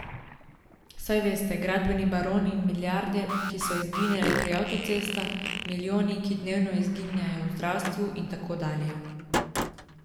Saj veste, gradbeni baroni in milijarde, ki so izginile pri avtocestah, milijoni, ki dnevno izginevajo v zdravstvu, in tako dalje.